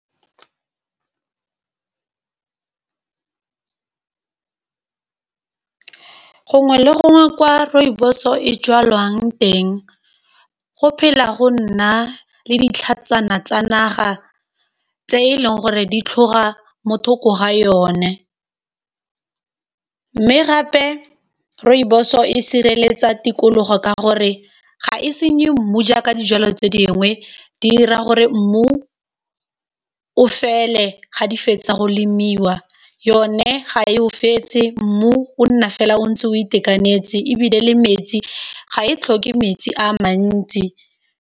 Gongwe le gongwe kwa rooibos-o e jalwang teng go phela go nna le ditlhatsana tsa naga tse e leng gore di tlhoga motho ko ga yone, mme gape rooibos-o e sireletsa tikologo ka gore ga e senye mmu jaaka dijalo tse dingwe di 'ira gore mmu o fele ga di fetsa go lemiwa yone ga e o fetse mmu o nna fela o ntse o itekanetse ebile le metsi ga e tlhoke metsi a mantsi.